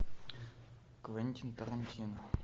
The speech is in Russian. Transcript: квентин тарантино